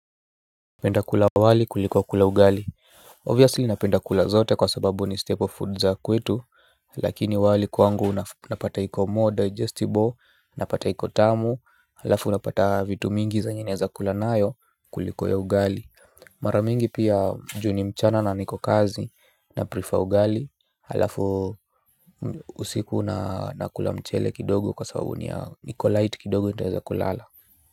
Napenda kula wali kuliko kula ugali. Obviously napenda kula zote kwa sababu ni staple food za kwetu. Lakini wali kwangu unapata iko more digestible, unapata iko tamu, halafu unapata vitu mingi zenye naeza kula nayo kuliko ya ugali. Mara mingi pia juu ni mchana na niko kazi, na prefer ugali halafu usiku nakula mchele kidogo kwa sababu ni ya iko light kidogo nitaweza kulala.